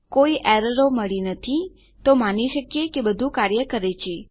કોઈપણ એરરો મળી નથી તો આપણે માની શકીએ કે બધું કાર્ય કરે છે